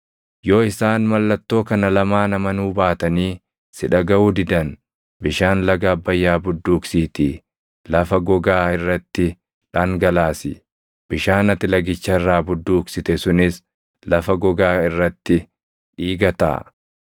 Yoo isaan mallattoo kana lamaan amanuu baatanii si dhagaʼuu didan bishaan laga Abbayyaa budduuqsiitii lafa gogaa irratti dhangalaasi. Bishaan ati lagicha irraa budduuqsite sunis lafa gogaa irratti dhiiga taʼa.”